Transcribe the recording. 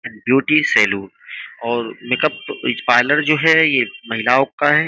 Beauty salon और makeup parlour जो है। ये महिलाओं का है।